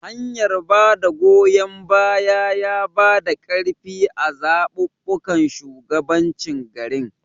hanyar bada goyon baya yabada karfi a zababbun shugabancin garin